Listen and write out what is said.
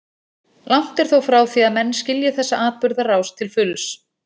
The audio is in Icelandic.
Langt er þó frá því að menn skilji þessa atburðarás til fulls.